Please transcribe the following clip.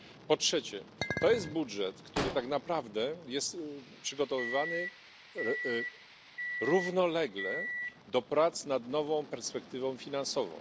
Po trzecie jest to budżet, który tak naprawdę jest przygotowywany równolegle do prac nad nową perspektywą finansową.